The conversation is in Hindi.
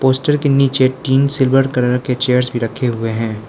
पोस्टर के नीचे तीन सिल्वर कलर के चेयर्स भी रखें हुए हैं।